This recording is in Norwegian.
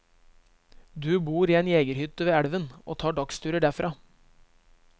Du bor i en jegerhytte ved elven og tar dagsturer derfra.